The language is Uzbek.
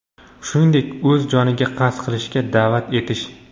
shuningdek o‘z joniga qasd qilishga da’vat etish;.